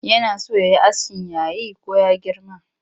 Yana so ya yi askin yayi ko ya girma?